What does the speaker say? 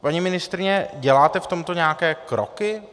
Paní ministryně, děláte v tomto nějaké kroky?